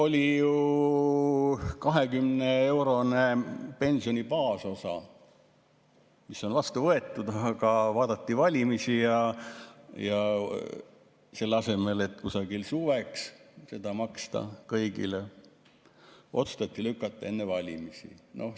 Oli ju 20‑eurone pensioni baasosa, mis on vastu võetud, aga vaadati valimisi ja selle asemel, et kusagil suveks seda maksta kõigile, otsustati see lükata ajale enne valimisi.